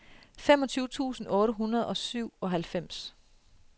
femogtyve tusind otte hundrede og syvoghalvfems